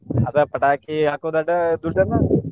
ಅದ ಪಟಾಕಿ ಹಾಕೋದ್ ಅದ ದುಡ್ಡನ್ನ .